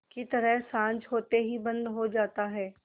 की तरह साँझ होते ही बंद हो जाता है